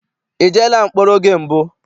I jeela mkpọrọ oge mbụ?